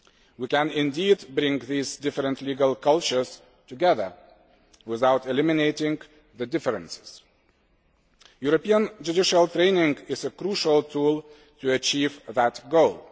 We can indeed bring these different legal cultures together without eliminating the differences. European judicial training is a crucial tool to achieve that goal.